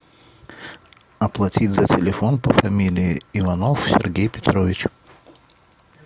оплатить за телефон по фамилии иванов сергей петрович